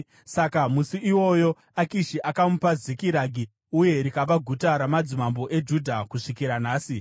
Saka musi iwoyo, Akishi akamupa Zikiragi, uye rikava guta ramadzimambo eJudha kusvikira nhasi.